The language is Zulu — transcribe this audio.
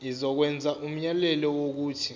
izokwenza umyalelo wokuthi